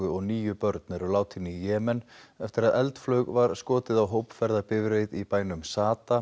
og níu börn eru látin í Jemen eftir að eldflaug var skotið á hópferðabifreið í bænum